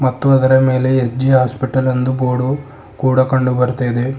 ಮತ್ತು ಅದರ ಮೇಲೆ ಎಸ್_ಜೆ ಹಾಸ್ಪಿಟಲ್ ಎಂದು ಬೋರ್ಡು ಕೂಡ ಕಂಡು ಬರ್ತ ಇದೆ.